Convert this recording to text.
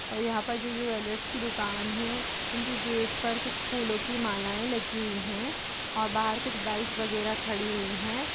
और यहाँ पे जो ज्वेलर्स की दुकान है उनकी गेट पर कुछ फूलों की मालायें लगी हुई हैं और बाहर कुछ बाइक वगैरह खड़ी हुई हैं ।